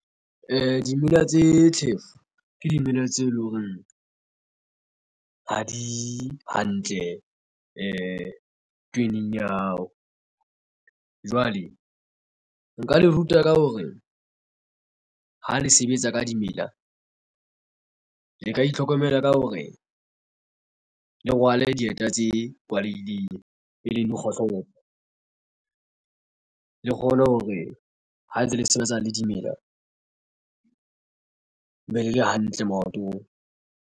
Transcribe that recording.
Dimela tse tjhefo ke dimela tse leng hore ha di hantle tweneng ya hao. Jwale nka le ruta ka hore ha le sebetsa ka dimela le ka itlhokomela ka hore le rwale dieta tse kwalehileng e leng kgohlopo le kgone hore ha ntse le sebetsana le dimela be le le hantle maotong.